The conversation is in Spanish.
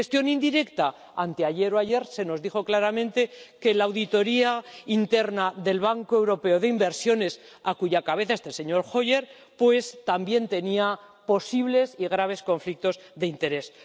En gestión indirecta anteayer o ayer se nos dijo claramente que la auditoría interna del Banco Europeo de Inversiones, a cuya cabeza está el señor Hoyer, también tenía posibles y graves conflictos de intereses.